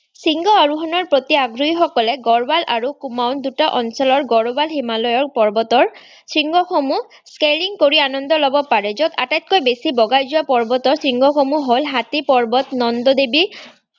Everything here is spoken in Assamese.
শৃংগ আৰোহণৰ প্ৰতি আগ্ৰহীসকলে গাঢ়োৱাল আৰু কুমাও দুটা অঞ্চলৰ গাঢ়োৱাল হিমালয়ৰ পৰ্বতৰ শৃংগসমূহ কৰি আনন্দ ল'ব পাৰে, য'ত আটাইতকৈ বেছি বগাই যোৱা পৰ্বতৰ শৃংগসমূহ হল হাতী পৰ্বত, নন্দোদেৱী,